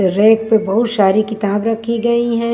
Rake पर बहुत सारी किताब रखी गई हैं।